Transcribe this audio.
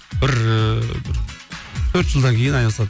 бір ыыы төрт жылдан кейін айналысады